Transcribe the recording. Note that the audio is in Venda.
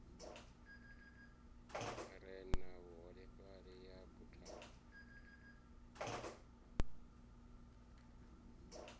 re na vhuholefhali ya buthano